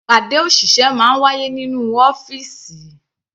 Ìpàdé òṣìṣẹ́ máa ń wáyé nínú ọ́fìsì.